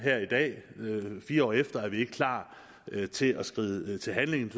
fire år efter er vi ikke klar til at skride til handling